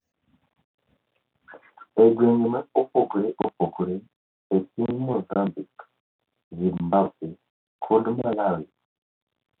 E gwenge mopogore opogore e piny Mozambique, Zimbabwe, kod Malawi.